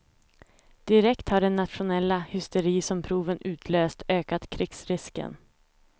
Direkt har den nationella hysteri som proven utlöst ökat krigsrisken.